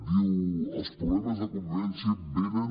diu els problemes de convivència venen